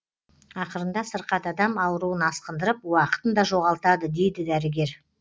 ақырында сырқат адам ауруын асқындырып уақытын да жоғалтады дейді дәрігер